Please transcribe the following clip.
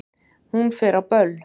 Hún fer á böll!